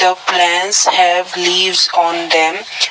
The plants have leaves on them.